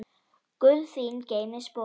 Guð þín geymi spor.